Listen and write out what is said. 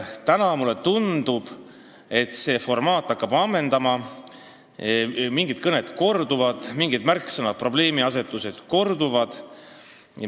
Täna mulle tundub, et see formaat hakkab ammenduma, mingid kõned korduvad, mingid märksõnad ja probleemiasetused korduvad.